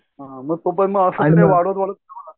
हां मग तोपण असं वाढत वाढत